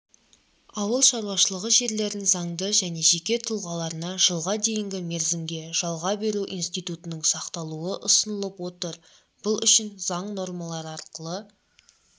ауыл шаруашылығы жерлерін заңды және жеке тұлғаларына жылға дейінгі мерзімге жалға беру институтының сақталуы ұсынылып отыр бұл үшін заң нормалары арқылы